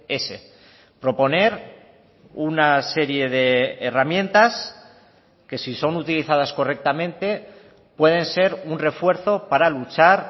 ese proponer una serie de herramientas que si son utilizadas correctamente pueden ser un refuerzo para luchar